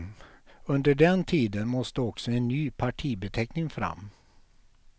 Under den tiden måste också en ny partibeteckning fram.